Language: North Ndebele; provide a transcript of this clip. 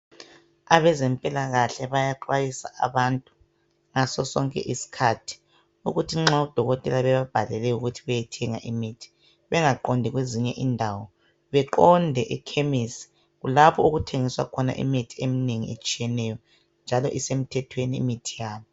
abezempilakahle bayaxwayisa abantu ngaso sonke isikhathi ukuthi nxa odokotela bebabhalele ukuthi beyethenga imithi bengaqondi kwezinye indawo beqonde ekhemesi kulapho okuthengiswa khona imithi eminengi etshiyeneyo njalo isemithethweni imithi yabo